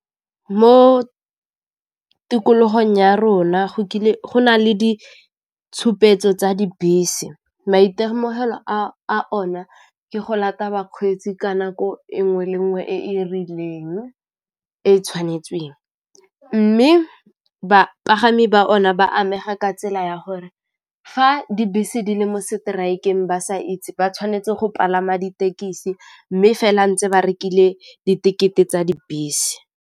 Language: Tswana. Mo tikologong ya rona go kile go na le ditshupetso tsa dibese, maitemogelo a o na ke go lata bakgweetsi ka nako e 'nngwe le 'nngwe e e rileng e tshwanetsweng, mme bapagami ba o na ba amega ka tsela ya gore fa dibese di le mo strike-eng ba sa itse ba tshwanetse go palama ditekisi mme fela ntse ba rekile di ticket-e tsa dibese.